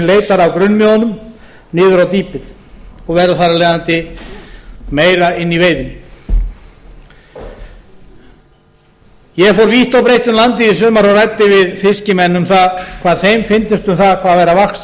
leitar af grunnmiðunum niður á dýpið og verður þar af leiðandi meira inni í veiðinni ég fór vítt og breitt um landið í sumar og ræddi við fiskimenn um það hvað þeim fyndist um það hvað væri að vaxa